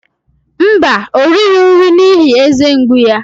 Mba, o righị nri n'ihi eze mgbu ya.